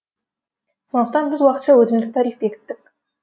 сондықтан біз уақытша өтімдік тариф бекіттік